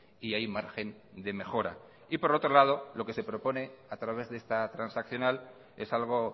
y hay margen de mejora y por otro lado lo que se propone a través de esta transaccional es algo